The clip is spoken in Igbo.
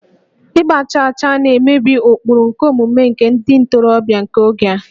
Ịgba chaachaa na-emebi ụkpụrụ omume nke ndị ntorobịa nke oge a